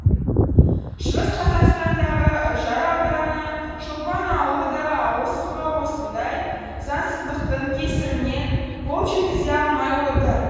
шығыс қазақстандағы үржар ауданы шолпан ауылы да ауыз суға осындай заңсыздықтың кесірінен қол жеткізе алмай отыр